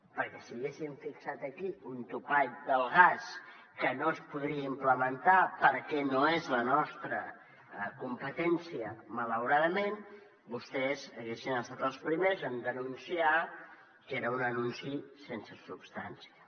perquè si haguéssim fixat aquí un topall del gas que no es podria implementar perquè no és la nostra competència malauradament vostès haurien estat els primers en denunciar que era un anunci sense substància